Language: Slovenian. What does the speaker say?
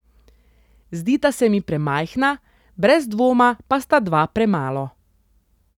Zdita se mi premajhna, brez dvoma pa sta dva premalo.